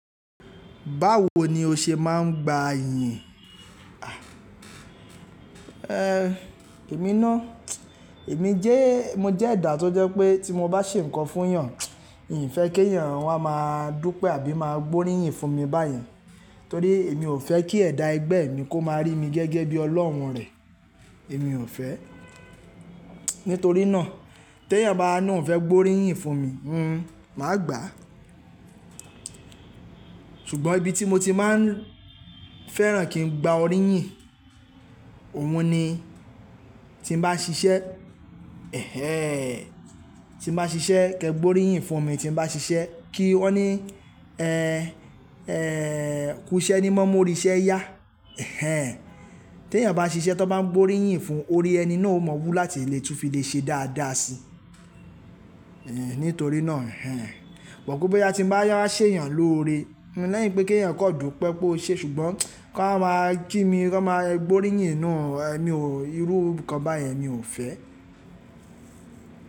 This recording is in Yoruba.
Báwo ni o ṣe máa ń gba iyin? Ehn, èmi ná, èmi jẹ́, mo jẹ́ ẹ̀dà tó jẹ́ pé tí mo bá ṣe nǹkan fún èèyàn, n fẹ́ kí èèyàn wá máa dúpẹ́ àbí máa gbóríyìn fún mi báyẹn. Torí èmi ò fẹ́ kí ẹ̀dà ẹgbẹ́ mi kó máa rí mi gẹ́gẹ́ bí ọlọ́hun rẹ̀. Èmi ò fẹ́. Nítorí náà tí èèyàn bá ni oun fẹ́ gbóríyìn fún mi, màá gbà. Ṣùgbọ́n ibi tí mo ti máa ń fẹ́ràn kí n gba oríyìn, òun ni tí mo bá ṣiṣẹ́, ẹhẹ́n, tí mo bá ṣiṣẹ́ kí ẹ gbóríyìn fún mi tí mo bá ṣiṣẹ́. Kí wọ́n ní, “kú iṣẹ́ ni mọ́ mú oriṣẹ́ yá”. Ẹhẹ́n. Tí èèyàn bá ṣiṣẹ́ tí wọ́n bá ń gbóríyìn fún, orí ẹni náà ó maa wú láti lè tún fi lè ṣe dáadáa si. Ehn, nítorí náà ẹhẹ́n. Wọ́n kú pé tí n bá wá ṣe èèyàn lóore, lẹ́yìn pé kí èèyàn kó dùpẹ́ pé "o ṣe", ṣùgbọ́n, kí wọ́n máa ki mi, kí wọ́n máa gbóríyìn, no ẹ mi ò, irú nǹkan báyẹn emi ò fẹ́.